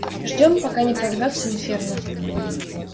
ждём пока не прорвётся инферно